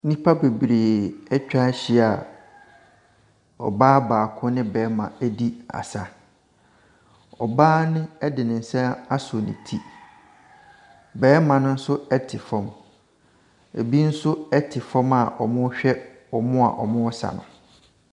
Nnipa bebree atwa ahyia a ɔbaa baako ne barima ɛredi asa. Ɔbaa ne de nsa asɔ ne ti, barima no nso te fam. Ɛbinom nso te fam a wɔrehwɛ wɔn a wɔresa no.